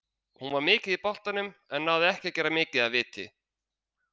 Hún var mikið í boltanum, en náði ekki að gera mikið af viti.